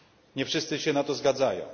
Nie wszyscy się na to zgadzają.